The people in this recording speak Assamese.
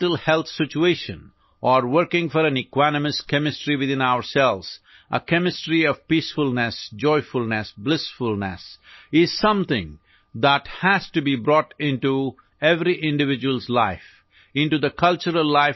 মনৰ স্বাস্থ্যৰ বাবে বা শৰীৰৰ ভিতৰত সুষম ৰাসায়নিক ব্যৱস্থাৰ বাবে কাম কৰা শান্তি আনন্দ সুখৰ অনুকূল সকলোৰে জীৱনৰ অংশ এখন সমাজ বিশ্বৰ প্ৰতিখন দেশ আৰু সামগ্ৰিকভাৱে মানৱ জাতিৰ সাংস্কৃতিক তন্ত্ৰ হব লাগে